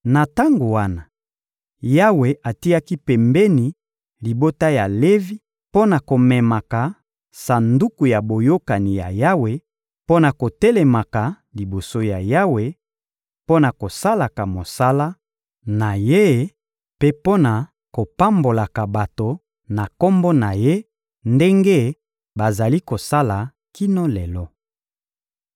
Na tango wana, Yawe atiaki pembeni libota ya Levi mpo na komemaka Sanduku ya Boyokani ya Yawe, mpo na kotelemaka liboso ya Yawe, mpo na kosalaka mosala na Ye mpe mpo na kopambolaka bato na Kombo na Ye ndenge bazali kosala kino lelo.